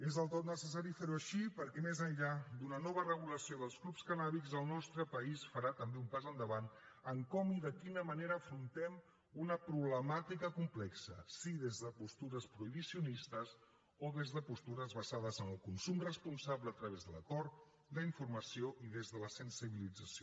és del tot necessari fer ho així perquè més enllà d’una nova regulació dels clubs cannàbics el nostre país farà també un pas endavant en com i de quina manera afrontem una problemàtica complexa si des de postures prohibicionistes o des de postures basades en el consum responsable a través de l’acord la informació i des de la sensibilització